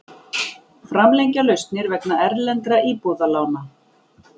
Framlengja lausnir vegna erlendra íbúðalána